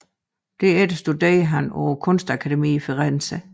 Derefter studerede han på kunstakademiet i Firenze